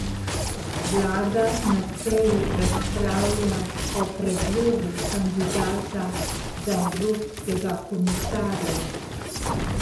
Vlada na seji razpravlja o predlogu kandidata za evropskega komisarja.